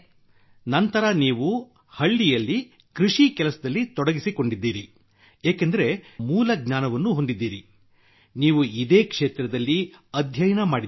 ಮತ್ತು ನಂತರ ನೀವು ಹಳ್ಳಿಯಲ್ಲಿ ಕೃಷಿ ಕೆಲಸದಲ್ಲಿ ತೊಡಗಿಸಿಕೊಂಡಿದ್ದೀರಿ ಏಕೆಂದರೆ ನೀವು ಮೂಲ ಜ್ಞಾನವನ್ನೂ ಹೊಂದಿದ್ದೀರಿ ನೀವೂ ಇದೇ ಕ್ಷೇತ್ರದಲ್ಲಿ ಅಧ್ಯಯನ ಮಾಡಿದ್ದೀರಿ